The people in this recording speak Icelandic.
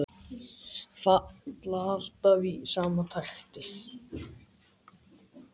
Falla alltaf í sama takti.